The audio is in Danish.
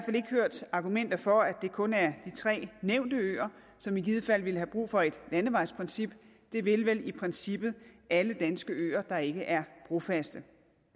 ikke hørt argumenter for at det kun er de tre nævnte øer som i givet fald ville have brug for et landevejsprincip det vil vel i princippet alle danske øer der ikke er brofaste